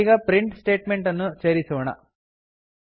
ನಾವೀಗ print statement ಅನ್ನು ಸೇರಿಸೋಣ